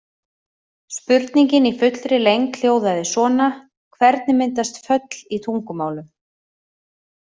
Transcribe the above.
Spurningin í fullri lengd hljóðaði svona: Hvernig myndast föll í tungumálum?